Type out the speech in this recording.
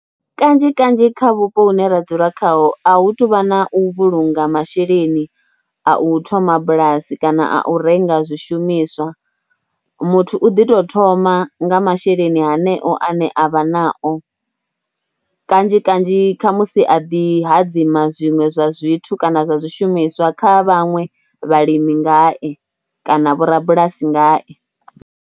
Kanzhi kanzhi kha vhupo hune ra dzula khaho, a hu tou vha na u vhulunga masheleni a u thoma bulasi kana a u renga zwishumiswa. Muthu u ḓi tou thoma nga masheleni haneo ane a vha nao, kanzhi kanzhi, kha musi a ḓi hadzima zwiṅwe zwa zwithu kana zwa zwishumiswa kha vhaṅwe vhalimi ngae kana vho rabulasi ngae.